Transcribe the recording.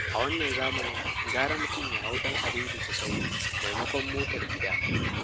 A wannan zamanin gara mutum ya hau ɗan adaidaita-sahu, maimakon motar gida.